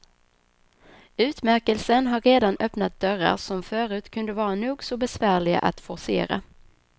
Utmärkelsen har redan öppnat dörrar som förut kunde vara nog så besvärliga att forcera.